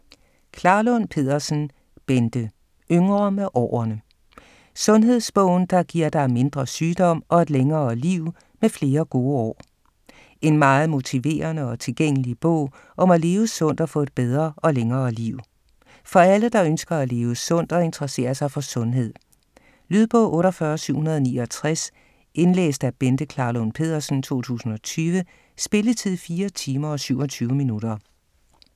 Klarlund Pedersen, Bente: Yngre med årene: sundhedsbogen, der giver dig mindre sygdom og et længere liv med flere gode år En meget motiverende og tilgængelig bog om at leve sundt og få et bedre og længere liv. For alle der ønsker at leve sundt og interesserer sig for sundhed. Lydbog 48769 Indlæst af Bente Klarlund Pedersen, 2020. Spilletid: 4 timer, 27 minutter.